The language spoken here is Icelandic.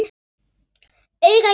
Auga í auga.